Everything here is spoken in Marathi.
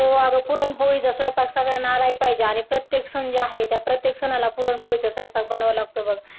हो अगं पुरणपोळीचा स्वयंपाक सगळ्यांना आलाही पाहिजे आणि प्रत्येक सण जे आहे त्या प्रत्येक सणाला पुरणपोळीचा स्वयंपाक बनवावा लागतो बघ